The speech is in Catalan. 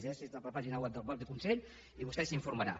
llegeixi’s la pàgina web del mateix consell i vostè s’informarà